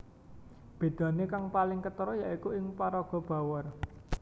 Bedane kang paling ketara ya iku ing paraga Bawor